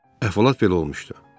Əhvalat belə olmuşdu.